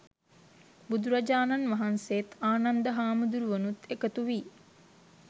බුදුරජාණන් වහන්සේත්, ආනන්ද හාමුදුරුවනුත් එකතු වී